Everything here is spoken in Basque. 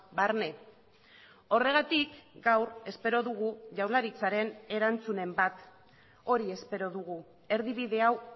barne horregatik gaur espero dugu jaurlaritzaren erantzunen bat hori espero dugu erdibide hau